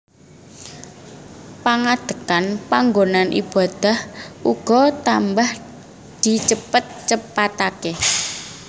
Pangadhekan panggonan ibadah uga tambah di cepet cepatake